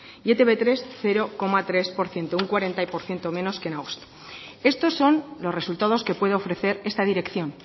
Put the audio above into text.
y etb hiru cero coma tres por ciento un cuarenta por ciento menos que en agosto estos son los resultados que puede ofrecer esta dirección